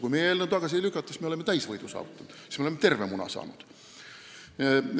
Kui meie eelnõu tagasi ei lükata, siis me saavutame täisvõidu, siis me saame terve muna.